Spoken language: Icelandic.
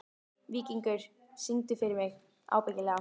Víkingur, syngdu fyrir mig „Ábyggilega“.